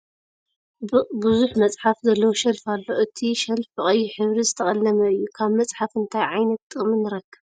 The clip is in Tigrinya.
ብዙሕ መፅሓፍ ዘለዎ ሽልፍ ኣሎ ። እቲ ሽልፍ ብ ቀይሕ ሕብሪ ዝተቀለመ እዩ ። ካብ መፅሓፍ እንታይ ዕይነት ጥቅሚ ንረክብ ?